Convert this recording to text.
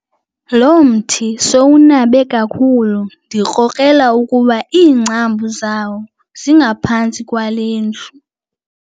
Lo mthi sowunabe kakhulu ndikrokrela ukuba iingcambu zawo zingaphantsi kwale ndlu.